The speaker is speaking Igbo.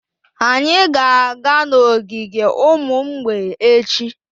Anyị ga-aga n'ogige ụmụ mgbei echi.